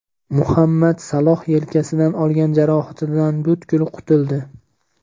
Muhammad Saloh yelkasidan olgan jarohatidan butkul qutuldi.